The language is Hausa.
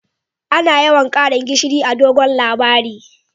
Ana yawan Karin gishiri a'dogon labari.